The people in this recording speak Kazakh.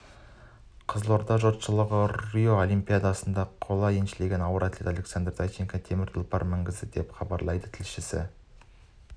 қызылорда жұртшылығы роо олимпиадасында қола еншілеген ауыр атлет александр зайчиковке темір тұлпар мінгізді деп хабарлайды тілшісі